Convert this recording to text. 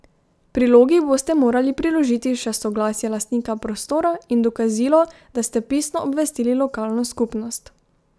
Prilogi boste morali priložiti še soglasje lastnika prostora in dokazilo, da ste pisno obvestili lokalno skupnost.